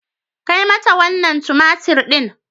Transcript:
Kai mata wannan tumatir din.